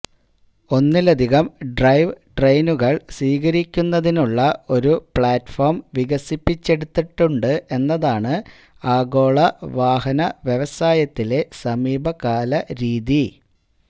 ഒന്നിലധികം ഡ്രൈവ് ട്രെയിനുകൾ സ്വീകരിക്കുന്നതിനുള്ള ഒരു പ്ലാറ്റ്ഫോം വികസിപ്പിച്ചെടുത്തിട്ടുണ്ട് എന്നതാണ് ആഗോള വാഹന വ്യവസായത്തിലെ സമീപകാല രീതി